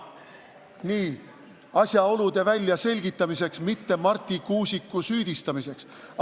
Nii, asjaolude väljaselgitamiseks, mitte Marti Kuusiku süüdistamiseks.